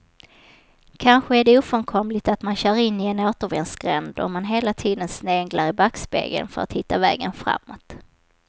Kanske är det ofrånkomligt att man kör in i en återvändsgränd om man hela tiden sneglar i backspegeln för att hitta vägen framåt.